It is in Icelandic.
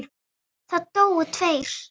Það dóu tveir.